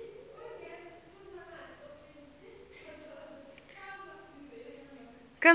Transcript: emaphoyisa